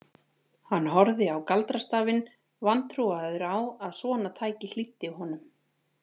Hann horfði á galdrastafinn, vantrúaður á að svona tæki hlýddi honum.